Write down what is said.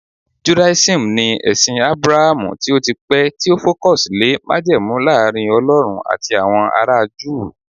judaism ni ẹsìn abrahamu tio tí pẹ ti o focus lè majemu Laarin ọlọrun ati awọn ara juu